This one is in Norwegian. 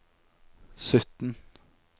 sytten